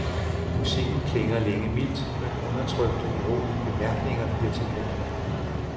Musikken klinger længe mildt, men undertrykte urolige bemærkninger bliver til panik.